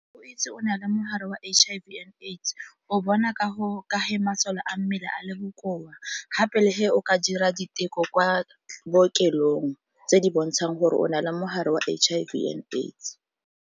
Go itse o na le mogare wa H_I_V and AIDS o bona ka go ka masole a mmele a le bokoa, gape le o ka dira diteko kwa bookelong tse di bontshang gore o na le mogare wa H_I_V and AIDS.